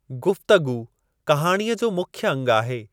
गुफ़्तगू कहाणीअ जो मुख्य अंगु आहे।